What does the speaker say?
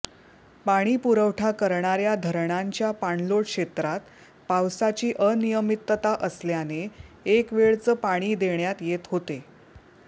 पाणीपुरवठा करणाऱ्या धरणांच्या पाणलोट क्षेत्रात पावसाची अनियमितता असल्याने एक वेळच पाणी देण्यात येत होते